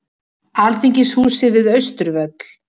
Alþingishúsið við Austurvöll.